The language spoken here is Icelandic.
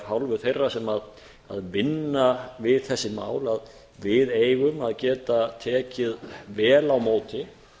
hálfu þeirra sem vinna við þessi mál að við eigum að geta tekið vel á móti